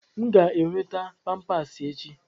M ga-enweta Pampasi echi.